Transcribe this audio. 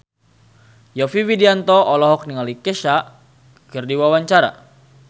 Yovie Widianto olohok ningali Kesha keur diwawancara